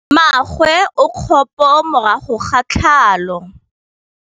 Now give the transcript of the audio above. Mmagwe o kgapô morago ga tlhalô.